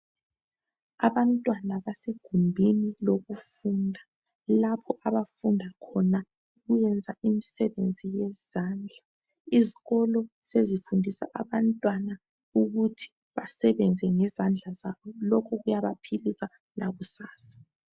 Abantwana basegumbini lokufunda, lapho abafunda khona ukwenza imisebenzi yezandla. Izikolo sezifundisa abantwana ukuthi basebenze ngezandla zabo. Lokhu kuyabaphilisa lakusasa.